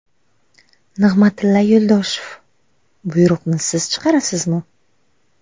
Nig‘matilla Yo‘ldoshev: Buyruqni siz chiqarasizmi?